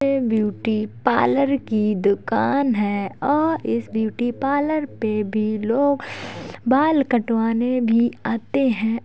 ये beauty parlour की दुकान है और इस ब्यूटी पार्लर पे भी लोग बाल कटवाने भी आते हैं।